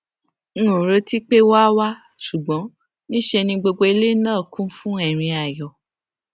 n ò retí pé wón á wá ṣùgbón ní í ṣe ni gbogbo ilé náà kún fún ẹrín ayọ